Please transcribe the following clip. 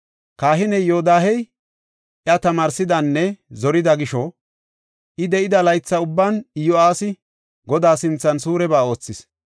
Kahiney Yoodahey, iya tamaarsidanne zorida gisho, I de7ida laytha ubban Iyo7aasi Godaa sinthan suureba oothis.